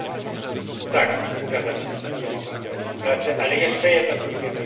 Tak, zgadzam się z tym, że mogą stracić pracę, ale jeszcze jedno krótkie wyjaśnienie.